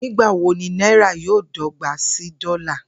Nigbawo ni naira yoo dọgba si dola?